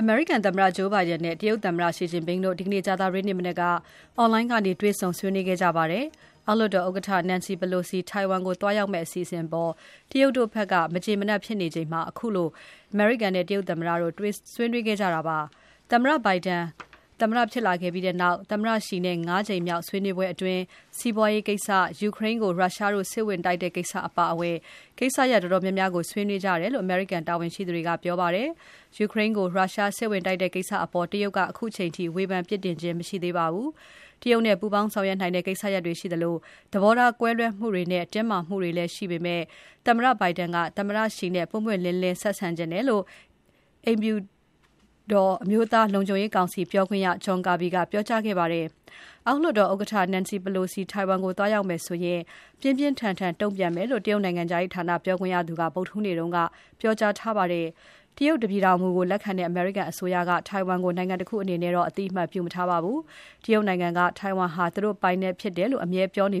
အမေရိကန်သမ္မတ Joe Biden နဲ့ တရုတ်သမ္မတ Xi Jinping တို့ ဒီနေ့ကြာသပတေးမနက်က Online ကနေ တွေ့ဆုံဆွေးနွေးခဲ့ကြပါတယ်။ အောက်လွှတ်တော် ဥက္ကဋ္ဌ Nancy Pelosi ထိုင်ဝမ်ကို သွားရောက်မယ့်အစီအစဉ်အပေါ် တရုတ်တို့ ဘက်က မကျေမနပ်ဖြစ်နေချိန် ခုလို အမေရိကန်နဲ့ တရုတ်သမ္မတို့ ဆွေးနွေးခဲ့ကြတာပါ။ သမ္မတ Biden ဖြစ်လာပြီးနောက် သမ္မတ Xi နဲ့ ၅ ကြိမ်မြောက် ဆွေးနွေးပွဲအတွင်း စီပွားရေးကိစ္စ၊ ယူကရိန်းကို ရုရှားတို့ စစ်ဝင်တိုက်တဲ့ကိစ္စအပါအဝင် ကိစ္စရပ်တော်တော်များများကို ဆွေးနွေးကြတယ်လို့ အမေရိကန်တာဝန်ရှိသူတွေက ပြောပါတယ်။ ယူကရိန်းကို ရုရှားစစ်ဝင်တိုက်တဲ့ကိစ္စအပေါ် တရုတ်က ခုချိန်ထိ ဝေဖန်ပြစ်တင်ခြင်း မရှိသေးပါဘူး။ တရုတ်နဲ့ ပူးပေါင်းဆောင်ရွက်နိုင်တဲ့ ကိစ္စရပ်တွေရှိသလို သဘောထားကွဲလွဲမှုတွေနဲ့ တင်းမာမှုတွေလည်းရှိနေပေမဲ့ သမ္မတ Biden က သမ္မတ Xi နဲ့ ပွင့်ပွင့်လင်းလင်း ဆက်ဆံချင်တယ်လို့ အိမ်ဖြူတော် အကျိုးဆက်တွေရှိလာမယ်လို့ အမျိုးသားလုံခြုံရေးကောင်စီ ပြောခွင့်ရ John Kirby ကပြောကြားခဲ့ပါတယ်။ အောက်လွှတ်တော်ဥက္ကဋ္ဌ Nancy Pelosi ထိုင်ဝမ်ကို သွားရောက်မယ်ဆိုရင် ပြင်းပြင်းထန်ထန်တုံ့ပြန်မယ်လို့ တရုတ်နိုင်ငံခြားရေးဌာနပြောခွင့်ရသူက ဗုဒ္ဓဟူးနေ့ က ပြောကြားခဲ့ပါတယ်။ တရုတ်တပြည်ထောင်မူကို လက်ခံတဲ့ အမေရိကန်အစိုးရက ထိုင်ဝမ်ကို နိုင်ငံတခုအနေနဲ့ အသိအမှတ်ပြုမထားပါဘူး။ တရုတ်နိုင်ငံက ထိုင် ဝမ်ဟာ သူတို့ပိုင်နက်ဖြစ်တယ်လို့ ပြောပြီး